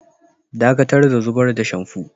Ɗakatar da zubar da shamfu!